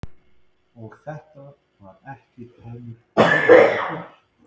Og þetta var ekki tómur hugarburður.